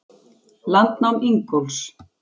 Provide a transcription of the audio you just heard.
Landnám Ingólfs.